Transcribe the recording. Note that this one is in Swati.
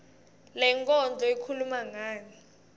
lenkondlo ikhuluma ngani